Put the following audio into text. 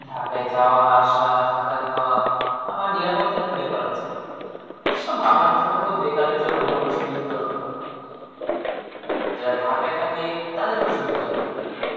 ঢাকায় যাওয়া-আসা, থাকা খাওয়া, আবার নিরাপত্তার একটা ব্যাপার আছে. এসব বেকারের জন্যে মোটেও সুবিধাজনক নয়. যারা ঢাকায় থাকে, তাদের জন্যে সুবিধাজনক.